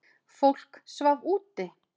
Fólk svaf úti.